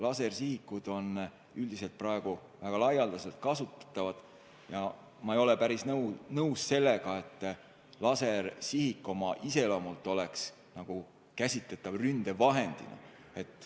Lasersihikud on üldiselt väga laialdaselt kasutatavad ja ma ei ole päris nõus sellega, et lasersihik oma iseloomult on käsitletav ründevahendina.